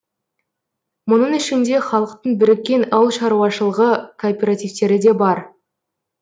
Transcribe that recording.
мұның ішінде халықтың біріккен ауыл шаруашылғы кооперативтері де бар